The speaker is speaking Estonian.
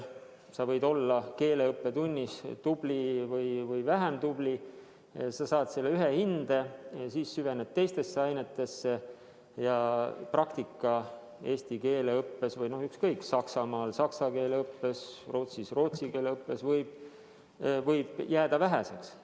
Sa võid keeleõppetunnis olla tubli või vähem tubli ja saada selle ühe hinde kätte, aga siis süvened teistesse ainetesse ja praktika eesti keele õppes – Saksamaal saksa keele õppes, Rootsis rootsi keele õppes – võib jääda väheseks.